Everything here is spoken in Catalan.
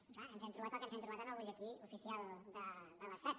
i clar ens hem trobat el que ens hem trobat en el butlletí oficial de l’estat